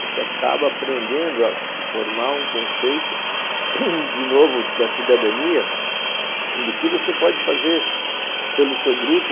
Você acaba aprendendo a formar um conceito, de novo, da cidadania, do que você pode fazer pelo seu grupo.